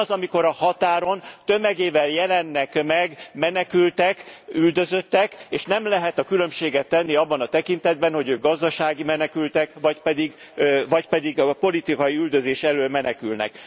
Mi az, amikor a határon tömegével jelennek meg menekültek, üldözöttek, és nem lehet különbséget tenni abban a tekintetben, hogy ők gazdasági menekültek vagy pedig politikai üldözés elől menekülnek.